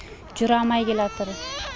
жүре алмай келатыр